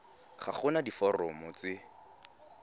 ga go na diforomo tse